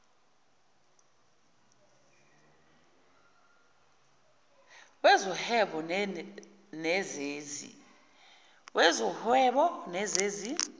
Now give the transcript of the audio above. wezo whebo nezezi